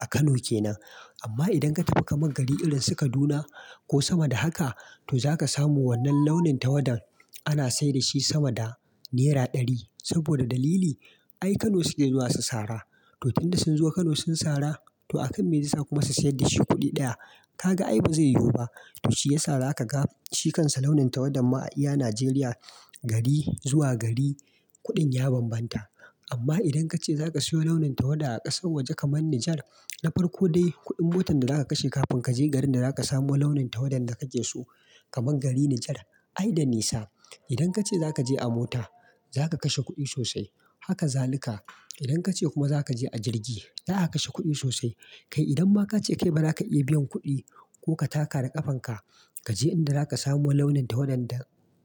a Kano kenan. Amma idan ka tafi kaman gari irin su Kaduna ko sama da haka, to za ka samu wannan launin tawadan ana sayar da shi sama da naira ɗari. Saboda dalili? Ai Kano suke zuwa su sara. To tun da sun zo Kano sun sara, to akan me zai sa kuma su sayar da shi kuɗi ɗaya. Ka ga ai ba zai yiwu ba. To shi ya sa za ka ga shi kansa launin tawada ma a iya Najeriya gari zuwa gari kuɗin ya banbanta. Amma idan ka ce za ka siyo launin tawada a ƙasar waje kaman Nijar, na farko dai kuɗin motar da za ka kashe kafin ka je garin da za ka samu launin tawadan da kake so kaman gari Nijar. Ai da nisa. Idan ka ce za ka je a mota, za ka kashe kuɗi sosai. Haka zalika. Idan ka ce kuma za ka je a jirgi, za a kashe kuɗi sosai. Kai idan ma ka ce kai ba za ka iya biyan kuɗi ko ka taka da ƙafan ka, ka je inda za ka samu launin tawadan da